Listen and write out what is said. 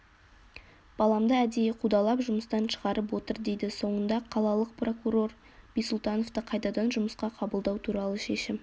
баламды әдейі қудалап жұмыстан шығарып отыр дейді соңында қалалық прокурор бисұлтановты қайтадан жұмысқа қабылдау туралы шешім